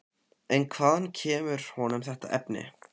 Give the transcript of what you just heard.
En hvaðan kemur honum þetta efni?